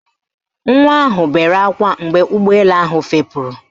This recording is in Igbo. Nwa ahụ bere ákwá mgbe ụgbọelu ahụ fepuru